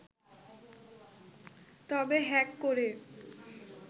তবে হ্যাক করে